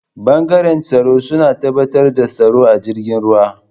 bangaren tsaro suna tabbatar da tsaro a jirgin ruwa.